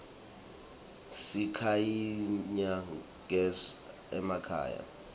sikhanyisa gez iemakhaya